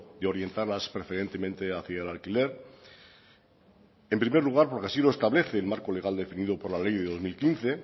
de orientarlas preferentemente hacia el alquiler en primer lugar porque así lo establece el marco legal definido por la ley del dos mil quince